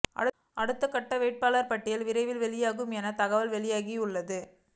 அடுத்தகட்ட வேட்பாளர் பட்டியல் விரைவில் வெளியாகும் என தகவல் வெளியாகியுள்ளது